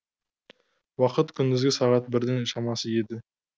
уақыт күндізгі сағат бірдің шамасы еді